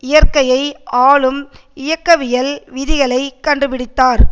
இயற்கையை ஆளும் இயக்கவியல் விதிகளைக் கண்டுபடித்தார்